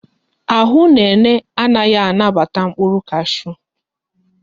Ahụ Nene anaghị anabata mkpụrụ kashu